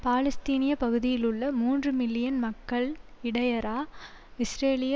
பாலஸ்தீனிய பகுதியிலுள்ள மூன்று மில்லியன் மக்கள் இடையறா இஸ்ரேலிய